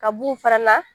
Ka b'u fana na